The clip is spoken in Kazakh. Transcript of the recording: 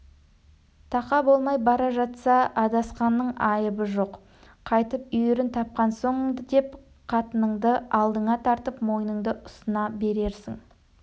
тақа болмай бара жатса адасқанның айыбы жоқ қайтып үйірін тапқан соң деп қатыныңды алдыңа тартып мойныңды ұсына берерсің